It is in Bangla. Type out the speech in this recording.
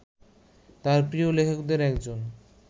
তাঁর প্রিয় লেখকদের একজন